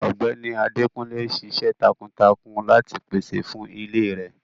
Ọgbẹni Adékúnlé n sìṣẹ̀ tákuntákun láti pèsè fún ilè rẹ.